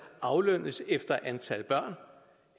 aflønnes efter antal børn